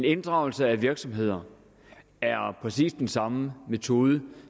inddragelse af virksomheder er præcis den samme metode